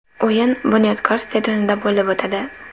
O‘yin ‘Bunyodkor’ stadionida bo‘lib o‘tadi”.